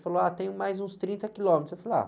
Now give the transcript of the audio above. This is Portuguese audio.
Ele falou, tem mais uns trinta quilômetros. Eu falei, ah...